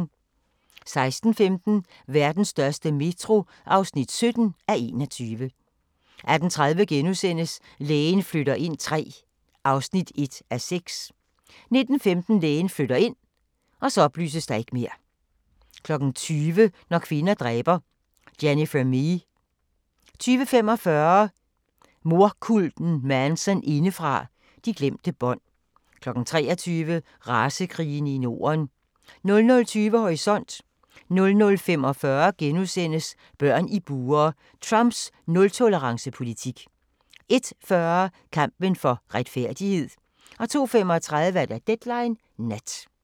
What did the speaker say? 16:15: Vestens største metro (17:21) 18:30: Lægen flytter ind III (1:6)* 19:15: Lægen flytter ind 20:00: Når kvinder dræber – Jennifer Mee 20:45: Mordkulten Manson indefra – De glemte bånd 23:00: Racekrigerne i Norden 00:20: Horisont 00:45: Børn i bure – Trumps nul-tolerance politik * 01:40: Kampen for retfærdighed 02:35: Deadline Nat